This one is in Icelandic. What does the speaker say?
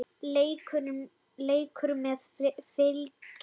Leikur með Fylki.